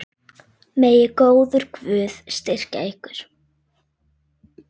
Megi góður Guð styrkja ykkur.